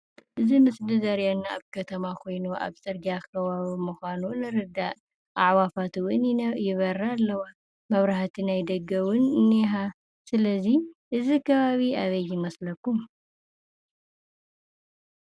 እዚ ምስሊ ዘርእየና ኣብ ከተማ ኾይኑ ኣብ ፅርጊያ ኸባቢ ምዃኑ ንርዳእ፡፡ ኣዕዋፋት እውን ይነ ይበራ ኣለዋ፡፡ መብራህቲ ናይ ደገ እውን እንሃ፡፡ ስለዚ እዚ ከባቢ ኣበይ ይመስለኩም?